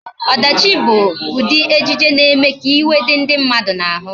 Ọdachi bụ ụdị ejije na-eme ka iwe dị ndị mmadụ n'ahụ